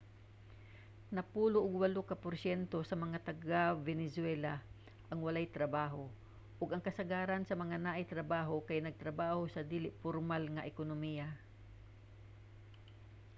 napulo og walo ka porsyento sa mga taga-venezuela ang walay trabaho ug kasagaran sa mga naay trabaho kay nagtrabaho sa dili pormal nga ekonomiya